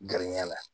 Gariya la